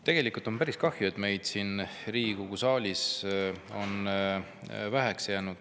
Tegelikult on päris kahju, et meid on siia Riigikogu saali vähe jäänud.